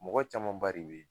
Mɔgɔ camanba de be ye